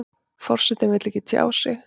Forsetinn vill ekki tjá sig